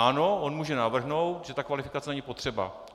Ano, on může navrhnout, že ta kvalifikace není potřeba.